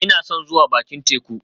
Ina son zuwa bakin teku